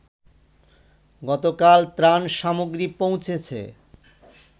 গতকাল ত্রাণ সামগ্রী পৌঁছেছে